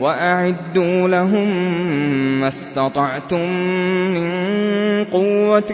وَأَعِدُّوا لَهُم مَّا اسْتَطَعْتُم مِّن قُوَّةٍ